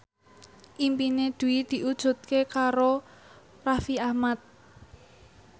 impine Dwi diwujudke karo Raffi Ahmad